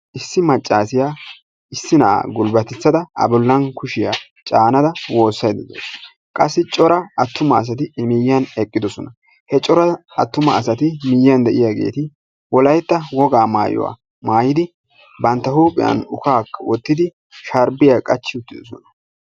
Issi maccassiya issi na'a gulbbatissada a bolla kushiya caanada woossayda de'awusu. Qassi cora attuma asati i miyiyan eqqidosona. He cora attuma asati miyiyan de'iyageeti wolaytta wogaa maayuwa maayidi banttaa huuphphiyan ukkaakka wottidi sharbbiya qachchi uttiddosona.